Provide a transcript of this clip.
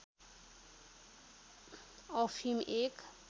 अफिम एक